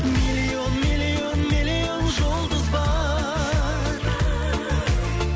миллион миллион миллион жұлдыз бар